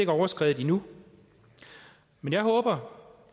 overskredet endnu men jeg håber